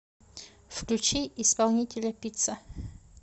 включи исполнителя пицца